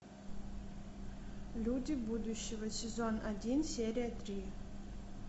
люди будущего сезон один серия три